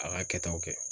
A ka kɛtaw kɛ